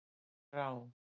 Þrá